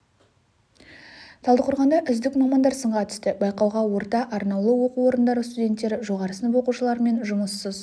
талдықорғанда үздік мамандар сынға түсті байқауға орта арнаулы оқу орындары студенттері жоғары сынып оқушылары мен жұмыссыз